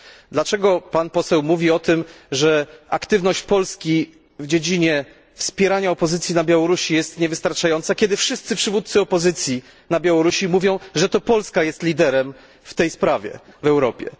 Dlaczego Pan Poseł mówi o tym, że aktywność Polski w dziedzinie wspierania opozycji na Białorusi jest niewystarczająca, kiedy wszyscy przywódcy opozycji na Białorusi mówią, że to Polska jest liderem w tej sprawie w Europie?